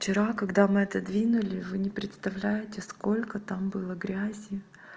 вчера когда мы отодвинули вы не представляете сколько там было грязи